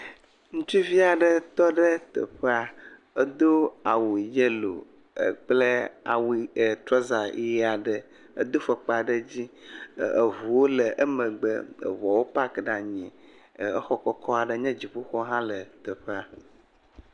ŋutsuvia ɖe tɔɖe teƒa edó awu yelo kple awu trɔza yiaɖe edó fɔkpa ɖe dzi eʋuwo le emegbe eʋuɔwo pak ɖa nyi e exɔ kɔkɔɖowo hã le teƒa eɖewo nye dziƒoxɔ